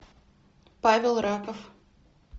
павел раков